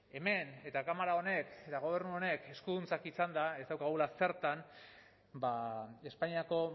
hemen eta kamara honek eta gobernu honek eskuduntzak izanda ez daukagula zertan espainiako